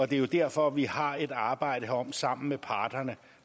det er jo derfor vi har et arbejde herom sammen med parterne